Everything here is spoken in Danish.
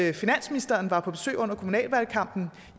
af at finansministeren var på besøg under kommunalvalgkampen